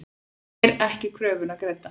Fær ekki kröfuna greidda